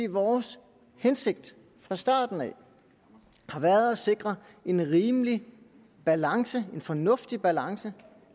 vores hensigt fra starten af har været at sikre en rimelig balance en fornuftig balance